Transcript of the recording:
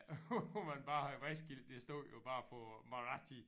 Hvor man bare havde vejskilte det stod jo bare på marathi